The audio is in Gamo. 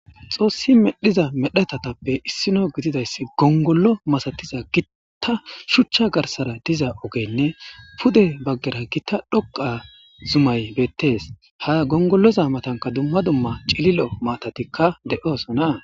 Xoossi medhdhida medhetatappe issino gididayssi gongollo masatiza gitta shuchcha garssara diza ogeynne pude baggaraynne gita dhoqqa zumay beettees. Ha gongolloza matanka dumma dumma cililo maatatikka de7osona.